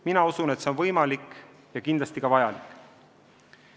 Mina usun, et see on võimalik ja kindlasti ka vajalik.